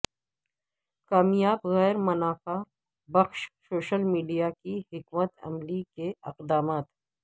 کامیاب غیر منافع بخش سوشل میڈیا کی حکمت عملی کے اقدامات